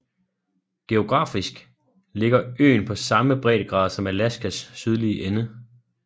Geografisk ligger øen på samme breddegrad som Alaskas sydlige ende